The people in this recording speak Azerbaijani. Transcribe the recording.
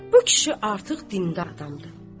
Bu kişi artıq dindar adamdır.